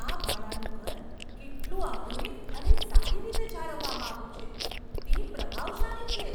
આ ભાડાનું ઘર કેટલું આધુનિક અને સારી રીતે જાળવવામાં આવ્યું છે, તે પ્રભાવશાળી છે!